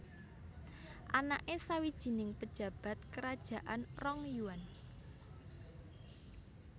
Anake sawijining pejabat kerajaan Rong Yuan